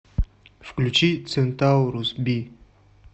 включи центаурус би